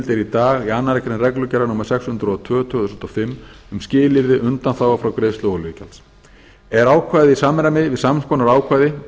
í dag í annarri grein reglugerðar númer sex hundruð og tvö tvö þúsund og fimm um skilyrði undanþágu frá greiðslu olíugjalds er ákvæðið í samræmi við sams konar ákvæði